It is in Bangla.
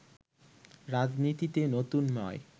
রাজনীতিতে নতুন নয়